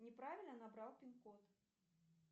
неправильно набрал пин код